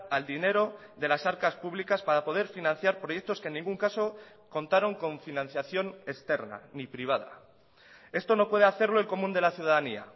al dinero de las arcas públicas para poder financiar proyectos que en ningún caso contaron con financiación externa ni privada esto no puede hacerlo el común de la ciudadanía